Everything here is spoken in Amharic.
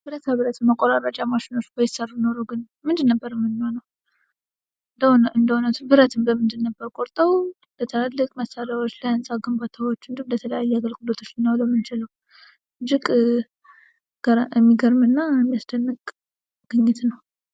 ብረታ ብረት ማቆራረጫ ማሽኖች ባይሠሩ ኖሮ ግን ምንድን ነበር ምንሆነው። እንደ እውነቱ ብረትን በምንድን ነበር ቆርጠው ለትልልቅ መሣሪያዎች፣ ለሕንፃ ግንባታዎች እንዲሁም ተለያዩ አገልግሎቶች ልናውለው የምንችለው። እጅግ የሚገርምና ሚያስደንቅ ግኝት ነው።